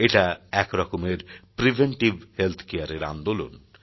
এটা একরকমের preventive health care এর আন্দোলন